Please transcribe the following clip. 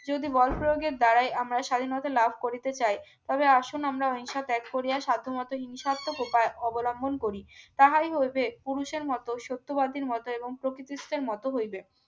যদি বল প্রয়োগের দাঁড়ায় আমরা স্বাধীনতা লাভ করিতে চাই তবে আসুন আমরা অহিংসা ত্যাগ করিয়া সাধ্যমত হিংসাক্ত প্রকার অবলম্বন করি তাহাই হইবে পুরুষের মতো সত্যবাদীর মত এবং প্রকৃতিসতের মতো হইবে